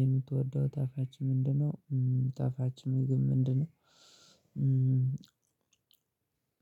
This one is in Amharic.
የምትወደው ጣፋጭ ምንድነው? ጣፋጭ ምግብ ምንድነው?